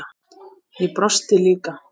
Ég brosti líka.